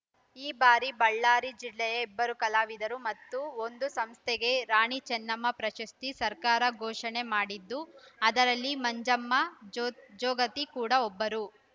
ಈ ಬಾರಿಯ ಬಳ್ಳಾರಿ ಜಿಲ್ಲೆಯ ಇಬ್ಬರು ಕಲಾವಿದರು ಮತ್ತು ಒಂದು ಸಂಸ್ಥೆಗೆ ರಾಣಿಚೆನ್ನಮ್ಮ ಪ್ರಶಸ್ತಿ ಸರ್ಕಾರ ಘೋಷಣೆ ಮಾಡಿದ್ದು ಅದರಲ್ಲಿ ಮಂಜಮ್ಮ ಜೋ ಜೋಗತಿ ಕೂಡ ಒಬ್ಬರು